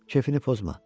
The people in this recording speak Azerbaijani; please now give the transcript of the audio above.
Kefini pozma.